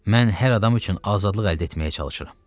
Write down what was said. Mən hər adam üçün azadlıq əldə etməyə çalışıram.